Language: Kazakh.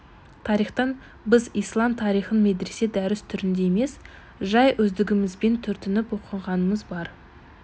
тарихтан біз ислам тарихын медресе дәріс түрінде емес жай өздігімізбен түртініп оқығанымыз бар